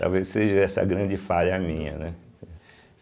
Talvez seja essa a grande falha minha, né?